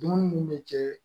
Dumuni mun bɛ kɛ